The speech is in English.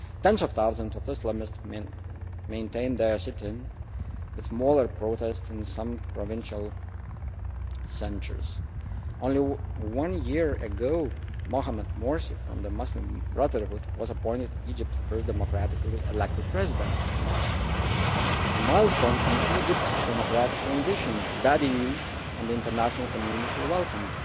Tens of thousands of Islamists maintained their sit in with smaller protests in some provincial centres. Only a year ago Mohamed Morsi from the Muslim Brotherhood was appointed Egypt's first democratically elected President, a milestone in Egypt's democratic transition that the EU and the international community welcomed.